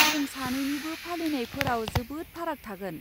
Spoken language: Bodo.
जों सानैनिबो फालिनायफोराव जोबोद फाराग थागोन।